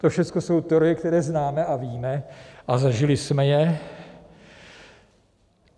To všechno jsou teorie, které známe a víme a zažili jsme je.